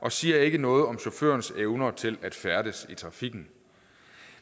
og siger ikke noget om chaufførens evne til at færdes i trafikken